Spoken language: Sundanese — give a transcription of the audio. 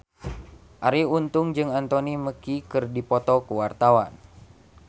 Arie Untung jeung Anthony Mackie keur dipoto ku wartawan